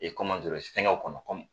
E fɛngɛw kɔnɔ